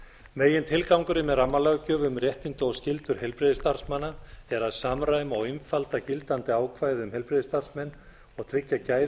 megintilgangurinn með rammalöggjöf um réttindi og skyldur heilbrigðisstarfsmanna er að samræma og einfalda gildandi ákvæði um heilbrigðisstarfsmenn og tryggja gæði